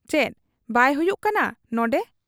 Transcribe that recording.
ᱪᱮᱫ ᱵᱟᱭ ᱦᱩᱭᱩᱜ ᱠᱟᱱᱟ ᱱᱚᱱᱰᱮ ?